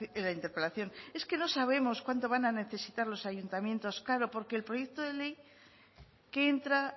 en la interpelación es que no sabemos cuándo van a necesitar los ayuntamientos claro porque el proyecto de ley que entra